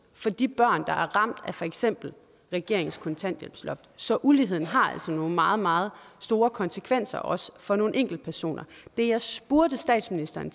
for de børn der er ramt af for eksempel regeringens kontanthjælpsloft så uligheden har altså nogle meget meget store konsekvenser også for nogle enkeltpersoner det jeg spurgte statsministeren